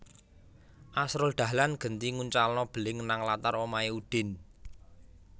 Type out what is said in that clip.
Asrul Dahlan genti nguncalno beling nang latar omahe Udin